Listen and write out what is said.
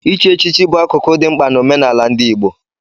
Ichi echichi bụ akụkụ dị mkpa na omenala ndị Igbo.